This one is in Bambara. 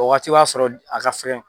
O waati b'a s'a sɔrɔ a ka fɛgɛn